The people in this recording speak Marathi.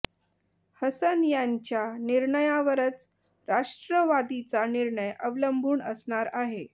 हसन यांच्या निर्णयावरच राष्ट्रवादीचा निर्णय अवलंबून असणार आहे